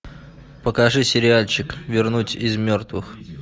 покажи сериальчик вернуть из мертвых